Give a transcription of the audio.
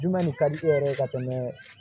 Juma le ka di e yɛrɛ ye ka tɛmɛ